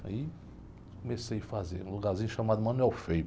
Aí comecei a fazer um lugarzinho chamado